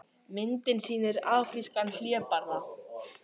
Myndin sýnir afrískan hlébarða.